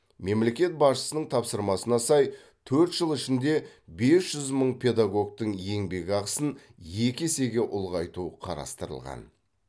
мемлекет басшысының тапсырмасына сай төрт жыл ішінде бес жүз мың педагогтің ебекақысын екі есеге ұлғайту қарастырылған